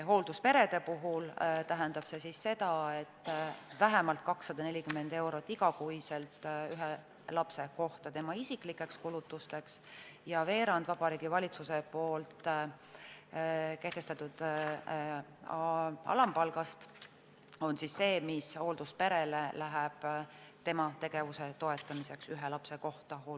Hooldusperede puhul tähendab see vähemalt 240 eurot igas kuus ühe lapse kohta tema isiklikeks kulutusteks, ja veerand Vabariigi Valitsuse kehtestatud alampalgast on see, mis hooldusperele läheb tema tegevuse toetamiseks ühe lapse kohta.